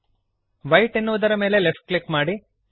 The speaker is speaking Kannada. ವೈಟ್ ಎನ್ನುವುದರ ಮೇಲೆ ಲೆಫ್ಟ್ ಕ್ಲಿಕ್ ಮಾಡಿರಿ